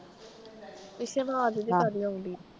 ਪਿੱਛੇ ਆਵਾਜ਼ ਜੀ ਕਾਦੀ ਆਉਣ ਡੀ?